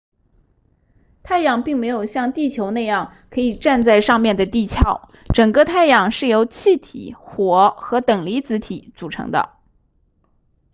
太阳并没有像地球那样可以站在上面的地壳整个太阳是由气体火和等离子体组成的